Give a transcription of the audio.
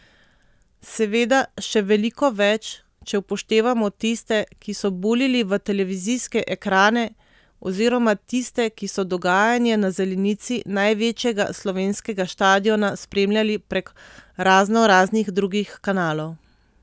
Seveda še veliko več, če upoštevamo tiste, ki so buljili v televizijske ekrane oziroma tiste, ki so dogajanje na zelenici največjega slovenskega štadiona spremljali prek raznoraznih drugih kanalov.